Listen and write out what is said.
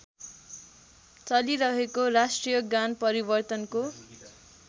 चलिरहेको राष्ट्रियगान परिवर्तनको